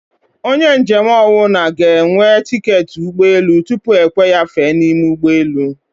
Onye njem ọnwụna g'enwe tiketi ụgbọ elù tupu ekwe ya fèè niime ụgbọ elù